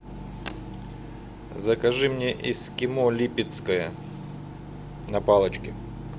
закажи мне эскимо липецкое на палочке